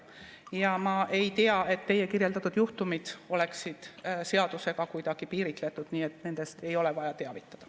Ja ma ei tea, et teie kirjeldatud juhtumid oleksid seadusega kuidagi piiritletud, nii et nendest ei ole vaja teavitada.